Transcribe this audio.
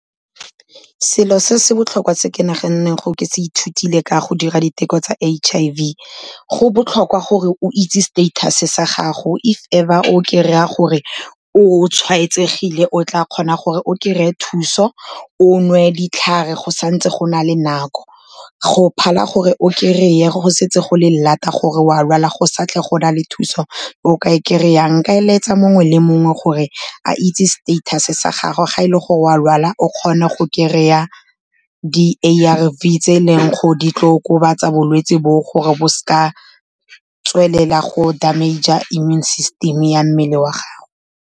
Selo se se botlhokwa se ko naganeng gore ke se ithutile ka go dira diteko tsa H_I_V, go botlhokwa gore o itse status-e sa gago, if ever o kry-a gore o tshwaetsegile, o tla kgona gore o kry-e thuso, o nwe ditlhare go santse go na le nako, go phala gore o kry-e go setse go le lata gore o a lwala go sa tle go na le thuso o ka e kry-ang. Nka eletsa mongwe le mongwe gore a itse status-e sa gagwe ga e le gore o a lwala, o kgone go kry-a di-A_R_V tse e leng gore di tlo okobatsa bolwetse boo, gore bo seka tswelela go damage-a immune system-e ya mmele wa gagwe.